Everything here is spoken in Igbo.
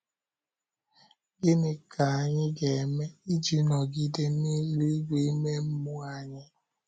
Gịnị ka anyị ga-eme iji nọgide na eluigwe ime mmụọ anyị?